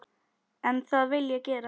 En það vil ég gera.